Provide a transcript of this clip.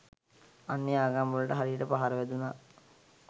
අන්‍ය ආගම්වලට හරියට පහර වැදුනා.